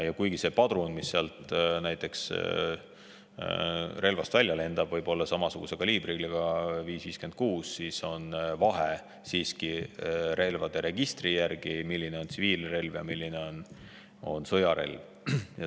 Ja kuigi see padrun, mis relvast välja lendab, võib olla samasuguse kaliibriga – 5,56 –, on relvade registri järgi võimalik teha vahet, milline on tsiviilrelv ja milline on sõjarelv.